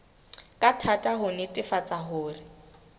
ka thata ho netefatsa hore